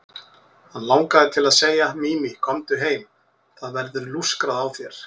Hann langaði til að segja: Mimi, komdu heim, það verður lúskrað á þér.